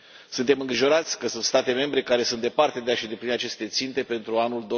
Suntem îngrijorați că sunt state membre care sunt departe de a și îndeplini aceste ținte pentru anul